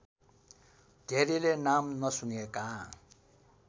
धेरैले नाम नसुनेका